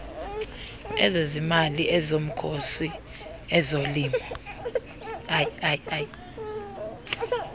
ezezimali ezomkhosi ezolimo